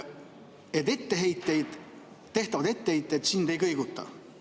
Sa ütlesid, et tehtavad etteheited sind ei kõiguta.